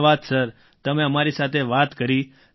ધન્યવાદ સર તમે અમારી સાથે વાત કરી